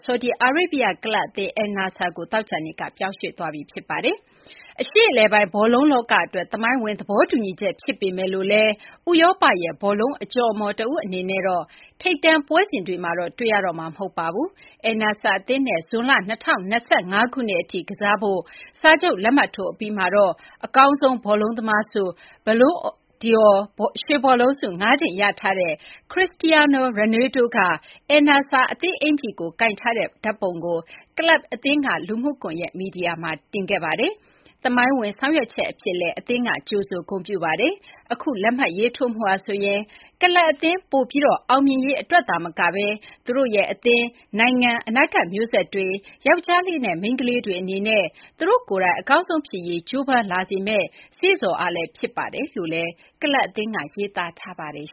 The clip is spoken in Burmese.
ဆော်ဒီအာရေးဗျ ကလပ်အသင်း Al Nassr ကို သောကြာနေ့က ပြောင်းရွှေ့သွားပါပြီ။ ဒါဟာ အရှေ့အလယ်ပိုင်း ဘောလုံး လောက အတွက် သမိုင်းဝင် သဘောတူညီချက် ဖြစ်ပေမဲ့ ဥရောပရဲ့ ဘောလုံး အကျော်အမော် တဦး အနေနဲ့တော့ ထိပ်တန်း ပွဲစဉ်တွေမှာတော့ တွေ့ရတော့မှာ မဟုတ်ပါဘူး။ Al Nassr အသင်းနဲ့ ဇွန်လ ၂၀၂၅ ခုနှစ် အထိ ကစားဖို့ စာချုပ်လက်မှတ်ထိုး အပြီးမှာတော့ အကောင်းဆုံး ဘောလုံးသမားဆု Ballon d’Or ရွှေဘောလုံးဆု ၅ ကြိမ် ရထားတဲ့ Cristiano Ronaldo က Al Nassr အသင်း အိကျီ ၤကိုင်ထားတဲ့ ဓာတ်ပုံကို Al Nassr က လူမှုကွန်ရက် မီဒီယာမှာ တင်ထားပါတယ်။ သမိုင်းဝင် ဆောင်ရွက်ချက် အဖြစ်လည်း Al Nassr အသင်းက ကြိုဆိုဂုဏ်ပြုပါတယ်။ အခု လက်မှတ်ရေးထိုးမှုဟာဆိုရင် ကလပ် အသင်း ပိုပြီး အောင်မြင်ရေး အတွက် သာမကဘဲ ကျနော်တို့ရဲ့ အသင်း၊ နိုင်ငံ၊ အနာဂတ် မျိုးဆက်တွေ၊ ယောကျာ်းလေးနဲ့ မိန်းကလေးတွေ အနေနဲ့ သူတို့ကိုယ်တိုင် အကောင်းဆုံး ဖြစ်ရေး ကြိုးပမ်းလာမယ့် စေ့ဆော်အားလည်း ဖြစ်ပါတယ်လို့ ကလပ်အသင်းက ရေးသားထားပါတယ်